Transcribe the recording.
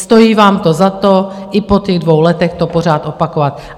Stojí vám to za to, i po těch dvou letech to pořád opakovat.